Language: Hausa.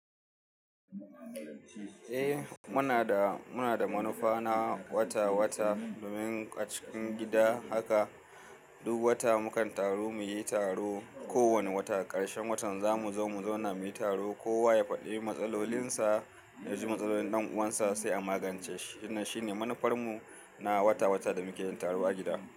Eh muna da, muna da manufa na wata wata domin a cikin gida haka duk wata mukan taru muyi taro. Ko wane wata ƙarshen watan za mu zo mu zauna muyi taro. Kowa ya faɗi matsalolinsa, ya ji matsalolin ɗan'uwansa sai a magance shi. Ina shine manufarmu na wata wata da muke yin taro a gida.